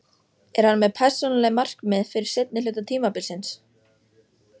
Er hann með persónuleg markmið fyrir seinni hluta tímabilsins?